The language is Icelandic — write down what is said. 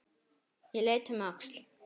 Ég leit um öxl.